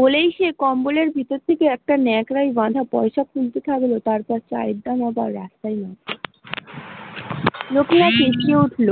বলেই সে কম্বলের ভিতর থেকে একটা নেকড়ায় বাঁধা পইসার থলি তারপর তার রাস্তায় নেমে পরল, লোকেরা চেঁচিয়ে উঠল